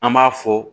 An b'a fɔ